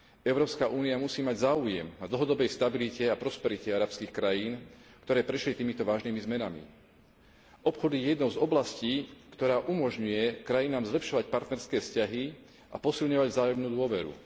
Európska únia musí mať záujem na dlhodobej stabilite a prosperite arabských krajín, ktoré prešli týmito vážnymi zmenami. Obchod je jednou z oblastí, ktorá umožňuje krajinám zlepšovať partnerské vzťahy a posilňovať vzájomnú dôveru.